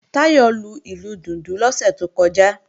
Táyọ̀ lu ìlù dùndún lọ́sẹ̀ tó kọjá